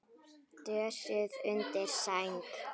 Dösuð undir sæng.